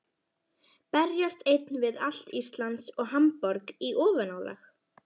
Berjast einn við allt Ísland og Hamborg í ofanálag?